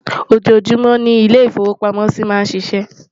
ọjọ júmò ní ilè ifowo pàmò sí má n ṣíṣe